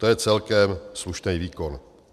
To je celkem slušný výkon.